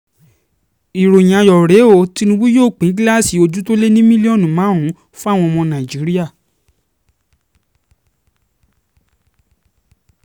ìròyìn ayọ̀ rèé o tìnùbù yóò pín gíláàsì ojú tó lé ní mílíọ̀nù márùn-ún fáwọn ọmọ nàìjíríà